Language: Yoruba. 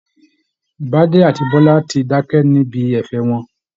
Bade àti Biola ti dákẹ́ níbi ẹ̀fẹ̀ wọn